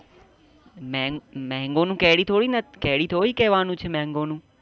મેં mango નું કેરી થોડીના કેરી થોડી કેવા નું છે. mango નું